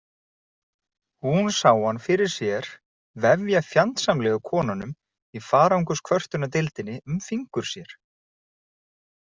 Hún sá hann fyrir sér vefja fjandsamlegu konunum í farangurskvörtunardeildinni um fingur sér.